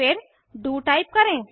फिर DO type करें